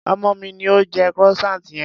Ọmọ mi ni ó jẹ croissant yẹn.